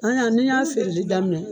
An yan ni y'a feereli daminɛ